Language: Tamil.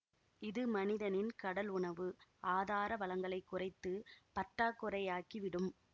இது மனிதனின் கடல் உணவு ஆதாரவளங்களை குறைத்து பற்றாக்குறையாக்கி விடும்